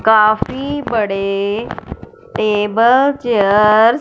काफी बड़े table chair --